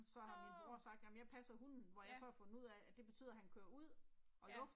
Nåh. Ja. Ja